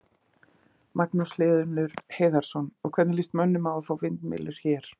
Magnús Hlynur Hreiðarsson: Og, hvernig lýst mönnum á að fá vindmyllur hér?